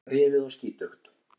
Allt rifið og skítugt.